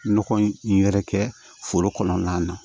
Nɔgɔ in yɛrɛ kɛ foro kɔnɔna na